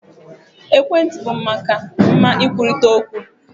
Ekwentị bụ maka mma nkwurịta okwu.